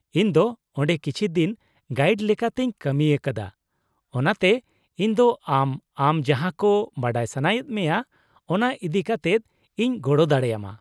-ᱤᱧ ᱫᱚ ᱚᱸᱰᱮ ᱠᱤᱪᱷᱤ ᱫᱤᱱ ᱜᱟᱭᱤᱰ ᱞᱮᱠᱟᱛᱮᱧ ᱠᱟᱹᱢᱤᱭᱟᱠᱟᱫᱟ, ᱚᱱᱟᱛᱮ ᱤᱧ ᱫᱚ ᱟᱢ, ᱟᱢ ᱡᱟᱦᱟᱸᱠᱚ ᱵᱟᱰᱟᱭ ᱥᱟᱱᱟᱭᱮᱫ ᱢᱮᱭᱟ ᱚᱱᱟ ᱤᱫᱤ ᱠᱟᱛᱮᱫ ᱤᱧ ᱜᱚᱲᱚ ᱫᱟᱲᱮᱭᱟᱢᱟ ᱾